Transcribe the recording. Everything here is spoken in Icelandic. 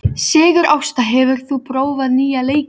Sigurásta, hefur þú prófað nýja leikinn?